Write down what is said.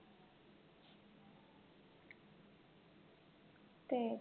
तेच